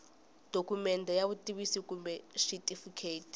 dokumende ya vutitivisi kumbe xitifiketi